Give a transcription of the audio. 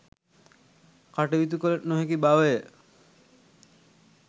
කටයුතු කළ නොහැකි බව ය.